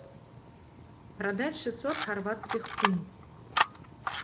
продать шестьсот хорватских кун